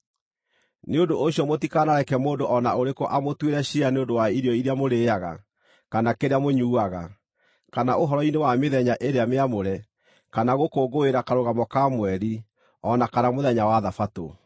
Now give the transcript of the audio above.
Nĩ ũndũ ũcio mũtikanareke mũndũ o na ũrĩkũ amũtuĩre ciira nĩ ũndũ wa irio iria mũrĩĩaga, kana kĩrĩa mũnyuuaga, kana ũhoro-inĩ wa mĩthenya ĩrĩa mĩamũre, kana gũkũngũĩra Karũgamo ka Mweri, o na kana mũthenya wa Thabatũ.